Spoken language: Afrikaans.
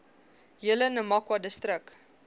hele namakwa distrik